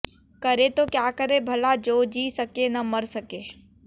करें तो क्या करें भला जो जी सके न मर सके